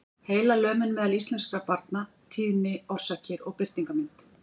Heilalömun meðal íslenskra barna- tíðni, orsakir og birtingarmynd.